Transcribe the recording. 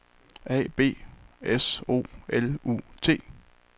A B S O L U T